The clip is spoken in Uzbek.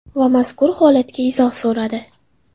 Va mazkur holatga izoh so‘radi.